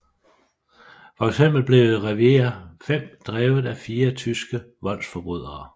For eksempel blev Revier 5 drevet af fire tyske voldsforbrydere